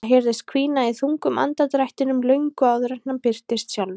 Það heyrðist hvína í þungum andardrættinum löngu áður en hann birtist sjálfur.